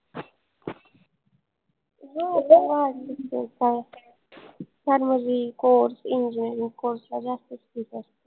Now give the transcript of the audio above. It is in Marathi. Pharmacycourse, engineering course ला जास्तच fees असते